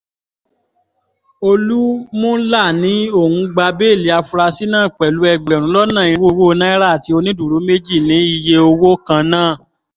olúmúlà ní òun gba béèlì àfúráṣí náà pẹ̀lú ẹgbẹ̀rún lọ́nà irínwó náírà àti onídùúró méjì ní iye owó kan náà